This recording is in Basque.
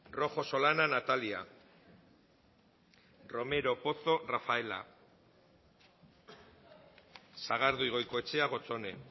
rojo solana natalia romero pozo rafaela sagardui goikoetxea gotzone